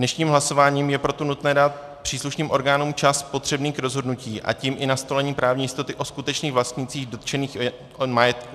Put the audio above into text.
Dnešním hlasováním je proto nutné dát příslušným orgánům čas potřebný k rozhodnutí, a tím i nastolení právní jistoty o skutečných vlastnících dotčeného majetku.